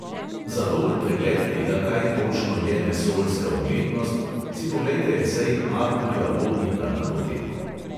Za dober pregled tega, kaj točno je vesoljska umetnost, si poglejte esej arturja vodnika na to temo.